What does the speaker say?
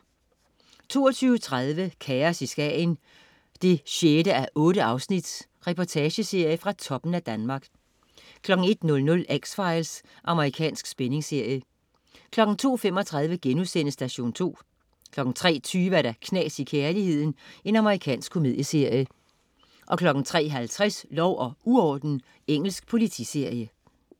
22.30 Kaos i Skagen 6:8. Reportageserie fra toppen af Danmark 01.00 X-Files. Amerikansk spændingsserie 02.35 Station 2* 03.20 Knas i kærligheden. Amerikansk komedieserie 03.50 Lov og uorden. Engelsk politiserie